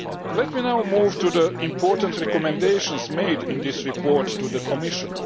Let me now move to the important recommendations made in this report to the Commission.